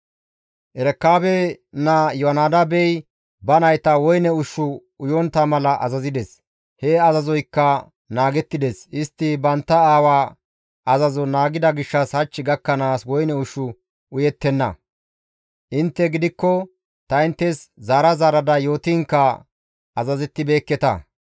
Erekaabe naa Iyoonadaabey ba nayta woyne ushshu uyontta mala azazides; he azazoykka naagettides; istti bantta aawa azazo naagida gishshas hach gakkanaas woyne ushshu uyettenna; intte gidikko ta inttes zaara zaarada yootiinkka azazettibeekketa.